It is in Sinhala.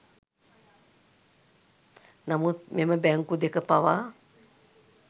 නමුත් මෙම බැංකු දෙක පවා